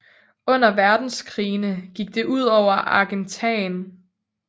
Under Verdenskrigene gik det ud over Argentan